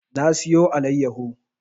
Na siyo allayaho